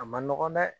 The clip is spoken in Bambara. A ma nɔgɔn dɛ